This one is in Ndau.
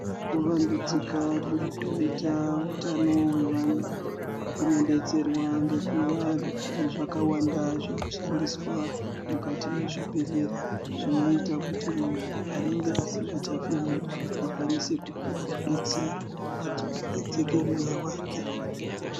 Kuvandudzika kurikuita hutano hwevana kunobetserwa ngekuva nezvakawanda zvinoshandiswa mukati mwezvibhedhlera. Zvinoita kuti muntu anenge asikachafemi akwanise kupuva rubetsero adzokeredzeke mweya vake.